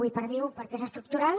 i perviu perquè és estructural